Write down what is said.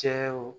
Cɛw